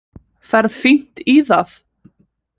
Ferð fínt í það.